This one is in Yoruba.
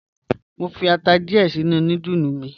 Mo n fi ata diẹ̀ sinu nùdúlù mi.